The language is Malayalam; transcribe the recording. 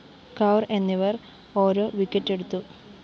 കൗര്‍ എന്നിവര്‍ ഓരോ വിക്കറ്റെടുത്തു